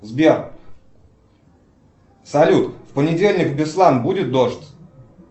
сбер салют в понедельник в беслан будет дождь